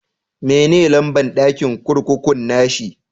Me ne lamba'n dakin kurkukun na shi?